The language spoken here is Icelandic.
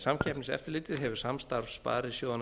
samkeppniseftirlitið hefur samstarf sparisjóðanna